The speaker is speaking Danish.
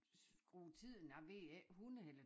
Skrue tiden jeg ved ikke 100 eller